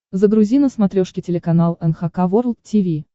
загрузи на смотрешке телеканал эн эйч кей волд ти ви